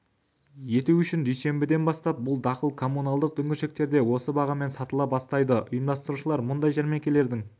ету үшін дүйсенбіден бастап бұл дақыл коммуналдық дүңгіршіктерде осы бағамен сатыла бастайды ұйымдастырушылар мұндай жәрмеңкелердің